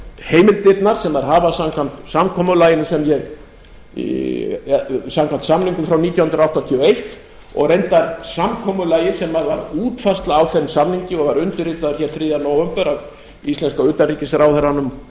heimildirnar sem þau hafa samkvæmt samningum frá nítján hundruð áttatíu og eins og reyndar samkomulagi sem var útfærsla á þeim samningi og var undirritaður hér þriðja nóvember af íslenska utanríkisráðherranum